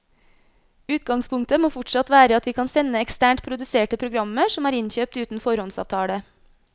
Utgangspunktet må fortsatt være at vi kan sende eksternt produserte programmer som er innkjøpt uten foråndsavtale.